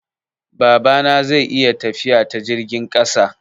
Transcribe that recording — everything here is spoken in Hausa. Babana zai yi tafiya ta jirgin ƙasa.